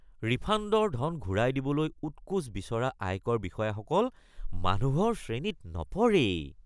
ৰিফাণ্ডৰ ধন ঘূৰাই দিবলৈ উৎকোচ বিচৰা আয়কৰ বিষয়াসকল মানুহৰ শ্ৰেণীত নপৰেই৷